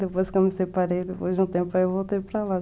Depois que eu me separei, depois de um tempo eu voltei para lá.